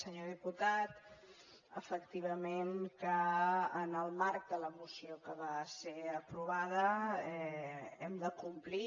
senyor diputat efectivament que en el marc de la moció que va ser aprovada hem de complir